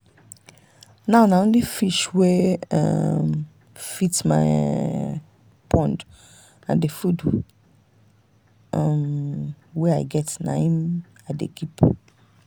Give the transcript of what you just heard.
now na only fish wey um fit my um pond and the food um wey i get na im i dey keep.